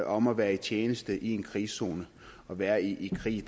om at være i tjeneste i en krigszone og være i krig